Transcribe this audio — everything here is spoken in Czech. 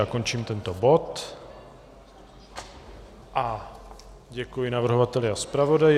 Já končím tento bod a děkuji navrhovateli a zpravodaji.